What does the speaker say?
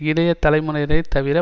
இளைய தலைமுறையினரை தவிர